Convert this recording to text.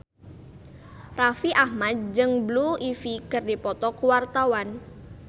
Raffi Ahmad jeung Blue Ivy keur dipoto ku wartawan